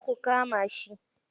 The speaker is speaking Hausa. Kar ku kama shi.